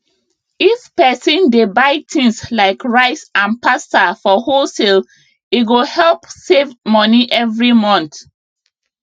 if person dey buy things like rice and pasta for wholesale e go help save money every month